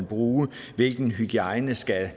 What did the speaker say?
bruges og hvilken hygiejne der skal